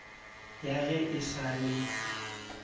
ya ge e sa le